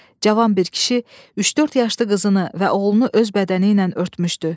Cavan bir kişi 3-4 yaşlı qızını və oğlunu öz bədəni ilə örtmüşdü.